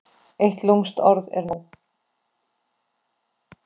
Eitt lúmskt orð er nóg.